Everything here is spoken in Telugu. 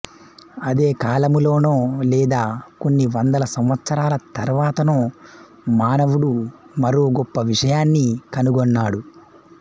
అదే కాలములోనో లేదా కొన్ని వందల సంవత్సరాల తరువాతనో మానవుడు మరో గొప్ప విషయాన్ని కనుగొన్నాడు